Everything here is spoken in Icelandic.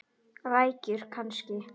Rækjur kannski?